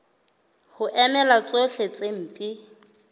ho emela tsohle tse mpe